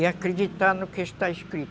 E acreditar no que está escrito.